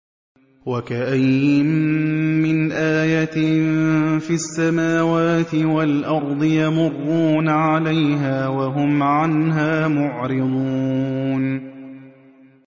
وَكَأَيِّن مِّنْ آيَةٍ فِي السَّمَاوَاتِ وَالْأَرْضِ يَمُرُّونَ عَلَيْهَا وَهُمْ عَنْهَا مُعْرِضُونَ